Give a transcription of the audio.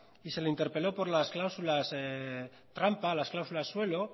y se le interpeló por las cláusulas trampa las cláusulas suelo